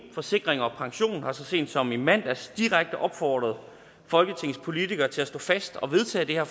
forsikring pension har så sent som i mandags direkte opfordret folketingets politikere til at stå fast og vedtage det her